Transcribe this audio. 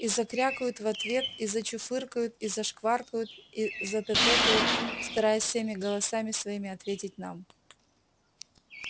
и закрякают в ответ и зачуфыкают и зашваркают и затэтэкают стараясь всеми голосами своими ответить нам